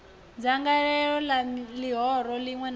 dzangalelo la lihoro linwe na